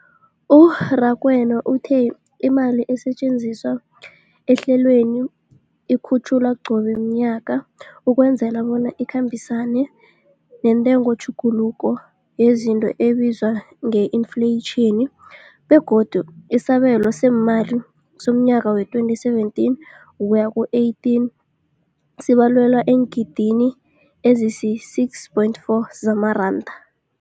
U-Rakwena uthe imali esetjenziswa ehlelweneli ikhutjhulwa qobe ngomnyaka ukwenzela bona ikhambisane nentengotjhuguluko yezinto ebizwa nge-infleyitjhini, begodu isabelo seemali somnyaka we-2017 ukuya ku-18 sibalelwa eengidigidini ezisi-6.4 zamaranda.